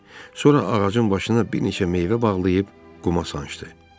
Sonra ağacın başına bir neçə meyvə bağlayıb quma sancdı.